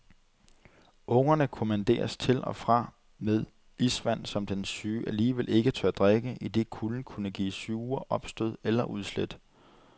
Ungerne kommanderes til og fra med isvand, som den syge alligevel ikke tør drikke, idet kulden kunne give sure opstød eller udslæt.